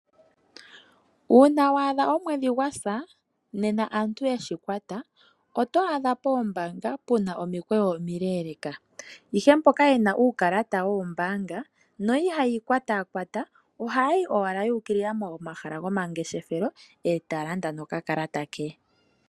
Uuna wa adha omwedhi gwasa, ano aantu yeshikwata, oto adha poombaanga puna omikweyo omileeleka. Ihe mboka yena uukalata woombaanga, na ihaya kwatakwata, ohaya yi owala yu ukilila momahala gomangeshefelo, eta landa nokakalata ke.